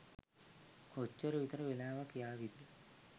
කොච්චර විතර වෙලාවක් යාවිද?